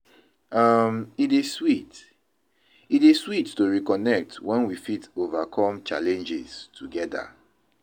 um, E dey sweet e dey sweet to reconnect when we fit overcome challenges together.